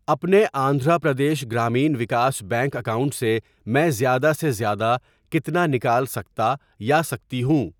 اپنے Andhra Pradesh Grameen Vikas bank account سے میں زیادہ سے زیادہ کتنا نکال سکتا یا سکتی ہوں؟